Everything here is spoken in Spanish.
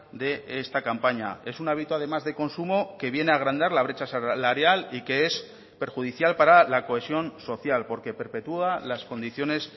de esta campaña es un hábito además de consumo que viene a agrandar la brecha salarial y que es perjudicial para la cohesión social porque perpetúa las condiciones